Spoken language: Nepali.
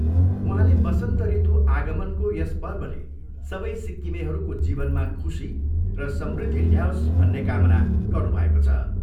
उहाँले बसन्त ऋतु आगमनको यस पर्वले सबै सिक्किमेहरूको जीवनमा खुशी र समृद्धि ल्याओस भन्ने कामना गर्नुभएको छ।